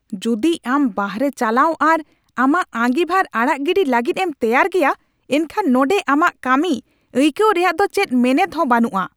ᱡᱩᱫᱤ ᱟᱢ ᱵᱟᱨᱦᱮ ᱪᱟᱞᱟᱣ ᱟᱨ ᱟᱢᱟᱜ ᱟᱸᱜᱤᱵᱷᱟᱨ ᱟᱲᱟᱜ ᱜᱤᱰᱤ ᱞᱟᱹᱜᱤᱫ ᱮᱢ ᱛᱮᱭᱟᱨ ᱜᱮᱭᱟ ᱮᱱᱠᱷᱟᱱ ᱱᱚᱸᱰᱮ ᱟᱢᱟᱜ ᱠᱟᱹᱢᱤ ᱟᱹᱭᱠᱟᱹᱣ ᱨᱮᱭᱟᱜ ᱫᱚ ᱪᱮᱫ ᱢᱮᱱᱮᱫ ᱦᱚᱸ ᱵᱟᱹᱱᱩᱜᱼᱟ ᱾